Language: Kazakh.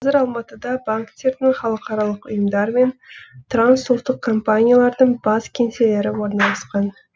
қазір алматыда банктердің халықаралық ұйымдар мен трансұлттық компаниялардың бас кеңселері орналасқан